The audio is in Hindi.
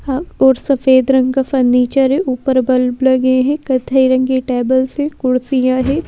आप और सफेद रंग का फर्नीचर है ऊपर बल्ब लगे हैं कथई रंग के टेबल से कुर्सियां हैं।